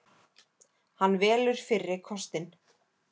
Hann velur fyrri kostinn.